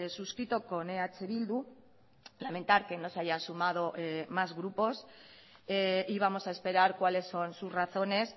suscrito con eh bildu lamentar que no se hayan sumado más grupos y vamos a esperar cuáles son sus razones